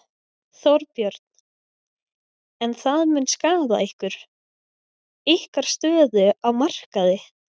Þorbjörn: En það mun skaða ykkur, ykkar stöðu á markaði?